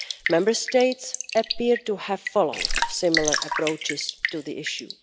Member States appear to have followed similar approaches to the issue.